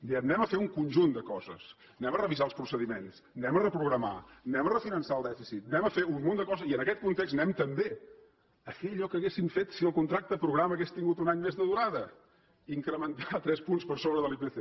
diem farem un conjunt de coses revisarem els procediments reprogramarem refinançarem el dèficit farem un munt de coses i en aquest context farem també allò que haurien fet si el contracte programa hagués tingut un any més de durada incrementar tres punts per sobre de l’ipc